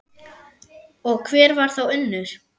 Og hver var þá Unnur?